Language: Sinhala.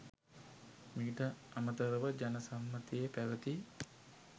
මීට අමතරව ජන සම්මතයේ පැවති